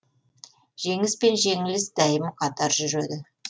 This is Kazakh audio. жеңіс пен жеңіліс дәйім қатар жүреді